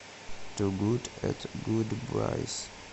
ту гуд эт гудбайс